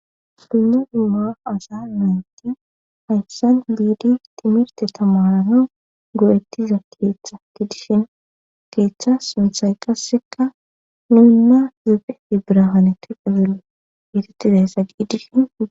dumnu dhumma asa menti hayssan liidi timirte tamarano go7ettiza keeththa ki dishin keeththa sunthay qasseka nuunna zefe i birahanete qazelo ititizayssa giidishin